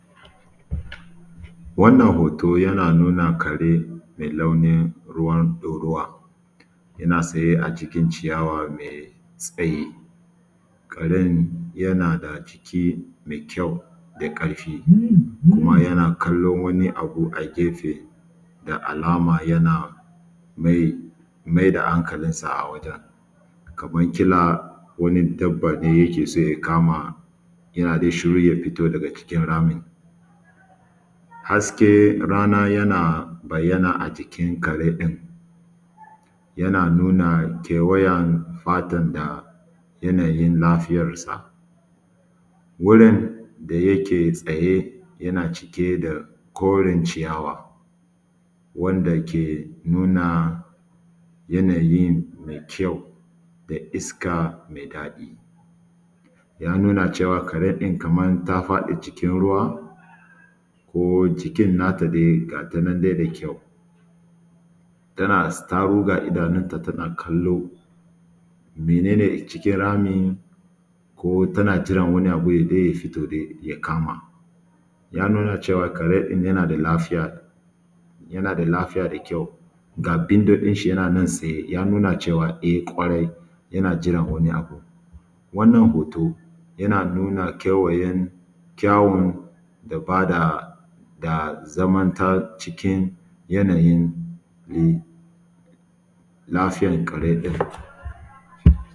Wannan hotoo ɗin yana nuna kare mai launin ruwa ɗoruwa yana tsaye a cikin ciyawa mai tsayi, karen yana da jiki mai kyau da ƙarfi kuma yana kallon wani abu a gefe, da alama yana mai-mai da hankalinsa a wajen kamar kila wani dabba ne yake soon ya kama yana dai shukru ya fiito daga cikin ramin. Hasken rana yana bayyana a cikin kare ɗin yana nuna kewayen fatan na yanayin lafiyansa wurin da yake tsaye yanaa cike da korin ciyawa wanda ke nuna yanayi me kyau da iska me daɗi yana nuna cewa amaar karan ta faɗi cikin ruwa ko jikin natai dai gatan na dai mai kyau, tana zaro idanun ta gataan nan dai tana kallo mene ne cikin ramin ko tana jiran wani abu ta biito ya kama ya nuna cewa karen yaana da lafiya yana da lafiya da kyau ga bindodin shi yana nan tsaye. Yana nuna cewa kwarai yana jiran wani abu wannan hoto yana nuna yanayin kawun bada da zamantar cikin yanayin lafiiyar kare ɗin.